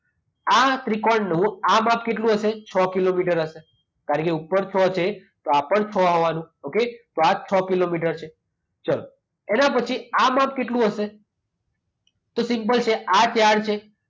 આ ત્રિકોણનું આ માપ કેટલું હશે? છ કિલોમીટર હશે કારણકે ઉપર છ છે તો આ પણ છ આવવાનું. ઓકે? તો આજ છ કિલોમીટર છે. ચાલો એના પછી આ માપ કેટલું હશે? તો સિમ્પલ છે આ ત્યાર છે.